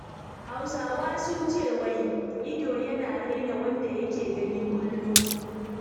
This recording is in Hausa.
Hausawa sun ce wai "ido yana raina wanda yake gani kullum"